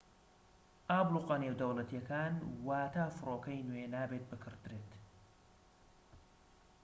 ئابڵوقە نێودەوڵەتیەکان واتا فڕۆکەی نوێ نابێت بکردرێت